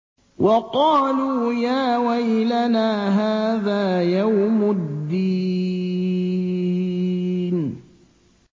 وَقَالُوا يَا وَيْلَنَا هَٰذَا يَوْمُ الدِّينِ